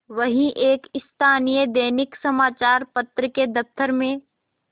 वह एक स्थानीय दैनिक समचार पत्र के दफ्तर में